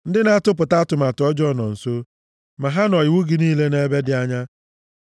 Ndị na-atụpụta atụmatụ ọjọọ nọ nso ma ha nọ iwu gị niile nʼebe dị anya.